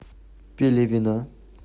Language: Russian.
пелевина